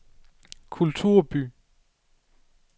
kulturby